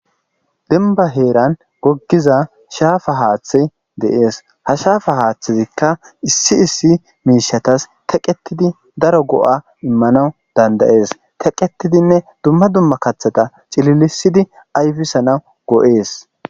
Demba heeran goggiza shaafa haaththe deees. ha shaafa haaththezikka issi issi miishatas teqqetidi daro go'a immanawu dandayees. teqqetidinne dumma dumma kaththata cililisidi ayfisanaw go 'ees.